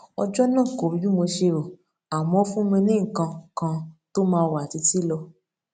ọjó náà kò rí bí mo ṣe rò àmó ó fún mi ní nǹkan kan tó máa wà títí lọ